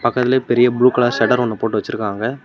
இருக்கறதுலையே பெரிய blue colour shutter ஒன்னு போட்டு வச்சுருக்காங்க.